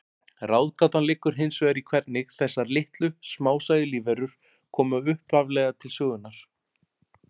Ráðgátan liggur hins vegar í hvernig þessar litlu, smásæju lífverur komu upphaflega til sögunnar.